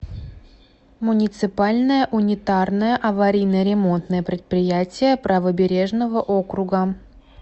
муниципальное унитарное аварийно ремонтное предприятие правобережного округа